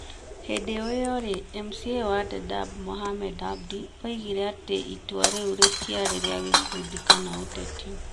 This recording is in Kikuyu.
Hingo o ĩyo rĩ, MCA wa Dadaab Mohamed Abdi oigire atĩ itua rĩu rĩtiarĩ rĩa gĩkundi kana ũteti.